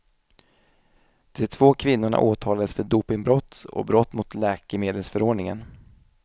De två kvinnorna åtalades för dopingbrott och brott mot läkemedelsförordningen.